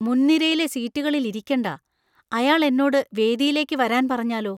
മുൻനിരയിലെ സീറ്റുകളിൽ ഇരിക്കണ്ട. അയാൾ എന്നോട് വേദിയിലേക്ക് വരാൻ പറഞ്ഞാലോ!